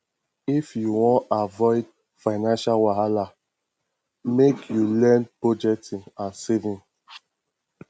if you wan avoid financial wahala lmake you learn budgeting and saving